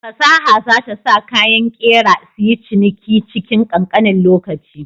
Fasaha za ta sa kayan ƙera suyi ciniki cikin ƙanƙanin lokaci.